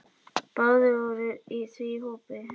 Báðir voru því í hópi